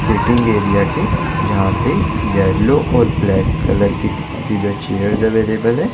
Sitting area की जहा पे येलो और ब्लैक कलर की थीम की जो चेयर्स अवेलेबल है।